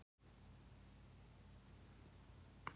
Hún talaði bara við sjálfa sig niðri í sparistofu.